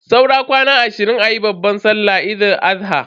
Saura kwana ashirin ayi babban sallan Eid Al-adha.